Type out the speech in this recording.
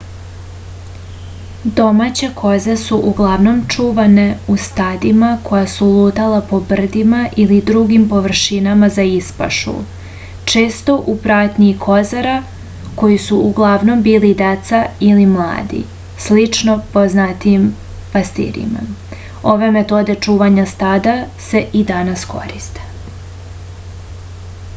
domaće koze su uglavnom čuvane u stadima koja su lutala po brdima ili drugim površinama za ispašu često u pratnji kozara koji su uglavnom bili deca ili mladi slično poznatijim pastirima ove metode čuvanja stada se i danas koriste